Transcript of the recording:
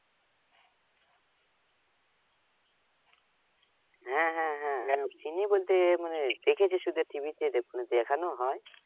হ্যাঁ হ্যাঁ হ্যাঁ চিনি বলতে মানে দেখেছি শুধু TV তে দেখানো হয়।